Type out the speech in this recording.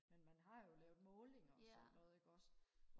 men man har jo lavet målinger og sådan noget ikke også